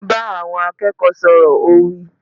Bá àwọn akẹ́kọ̀ọ́ sọ̀rọ̀! Ó wí.